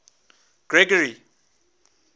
gregory